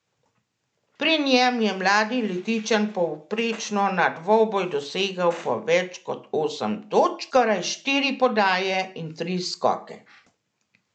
Pri njem je mladi Litijčan povprečno na dvoboj dosegal po več kot osem točk, skoraj štiri podaje in tri skoke.